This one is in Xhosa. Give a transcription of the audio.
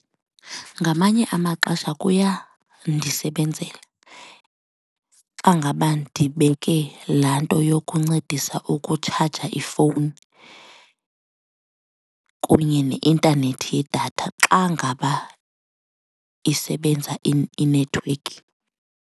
Ngamanye amaxesha kuyandisebenzela xa ngaba ndibeke laa nto yokuncedisa ukutshaja ifowuni kunye neintanethi yedatha xa ngaba isebenza inethiwekhi.